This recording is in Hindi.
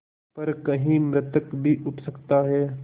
पर कहीं मृतक भी उठ सकता है